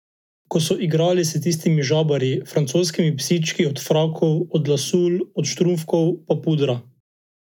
Ki so igrali s tistimi žabarji, francoskimi psički od frakov, od lasulj, od štumfkov pa pudra.